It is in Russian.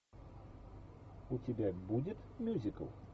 у тебя будет мюзикл